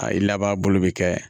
A i laban bolo bi kɛ